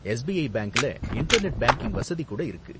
SBI பேங்க்ல internet banking வசதி கூட இருக்கு.